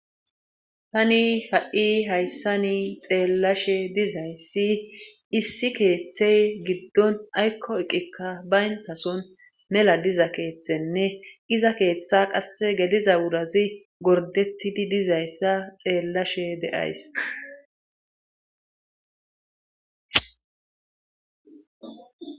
tani ha7i hayssa ni xeellashe dizayssi issi keeththey giddon aykko eqikka bayntason mela diza keeththenne iza keeththa qasse gediza wurazi gordetidi dizayssa xeellashe de7ays